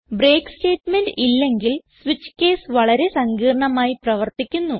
break statement ഇല്ലെങ്കിൽ switch case വളരെ സങ്കീർണ്ണമായി പ്രവർത്തിക്കുന്നു